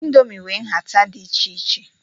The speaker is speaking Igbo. Ịndomii nwe nhata dị iche iche.